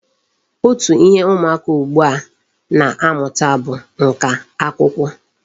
Otu ihe ụmụaka ugbua a na-amụta bụ nka akwụkwọ.